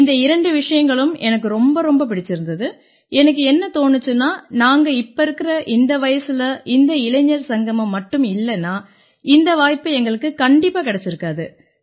இந்த இரண்டு விஷயங்களும் எனக்கு ரொம்ப ரொம்ப பிடிச்சிருந்திச்சு எனக்கு என்ன தோணிச்சுன்னா நாங்க இப்ப இருக்கற இந்த வயசுல இந்த இளைஞர் சங்கமம் மட்டும் இல்லைன்னா இந்த வாய்ப்பு எங்களுக்குக் கண்டிப்பா கிடைச்சிருக்காது